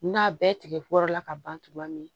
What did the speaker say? N'a bɛɛ tigɛ kɔrɔla ka ban togoya min na